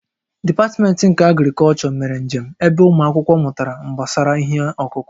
Dipatmentị nke Agrịkọlchọ mere njem ebe ụmụ akwụkwọ mụtara gbasara ihe ọkụkụ